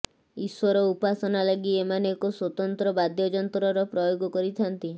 ଈଶ୍ୱର ଉପାସନା ଲାଗି ଏମାନେ ଏକ ସ୍ୱତନ୍ତ୍ର ବାଦ୍ୟଯନ୍ତ୍ରର ପ୍ରୟୋଗ କରିଥାନ୍ତି